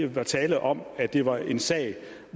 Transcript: var tale om at det var en sag